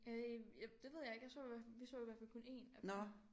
Øh jeg det ved jeg ikke jeg så i vi så i hvert fald kun én af dem